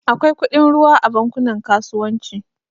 Akwai kudin ruwa a bankunan kasuwanci